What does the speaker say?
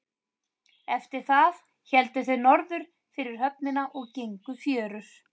Eftir það héldu þeir norður fyrir höfnina og gengu fjörur.